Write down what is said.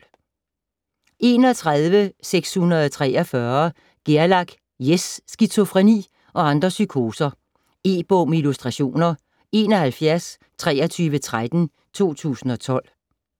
61.643 Gerlach, Jes: Skizofreni og andre psykoser E-bog med illustrationer 712313 2012.